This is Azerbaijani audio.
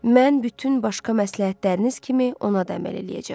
Mən bütün başqa məsləhətləriniz kimi ona da əməl eləyəcəm.